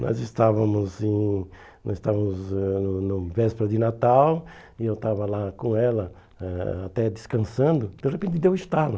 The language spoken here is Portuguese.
Nós estávamos hum nós estávamos ãh no véspera de Natal e eu estava lá com ela eh até descansando, de repente deu estalo.